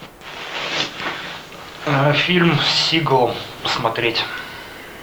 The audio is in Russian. фильм с сигалом посмотреть